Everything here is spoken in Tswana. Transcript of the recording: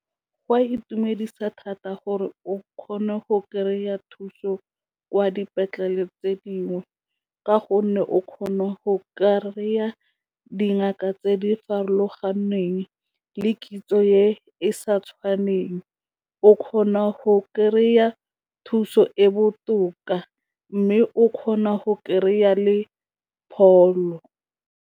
Go a itumedisa thata gore o kgone go kry-a thuso kwa dipetlele tse dingwe ka gonne o kgona go kry-a dingaka tse di farologaneng le kitso e sa tshwaneng, o kgona go kry-a thuso e botoka mme o kgona go kry-a le pholo.